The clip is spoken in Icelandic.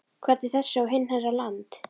Hvernig þessi og hinn herra Land